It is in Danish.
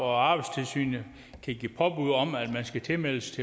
og arbejdstilsynet kan give påbud om at man skal tilmeldes